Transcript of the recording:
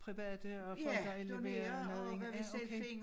Private og folk der indleverer nede i ja okay